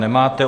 Nemáte.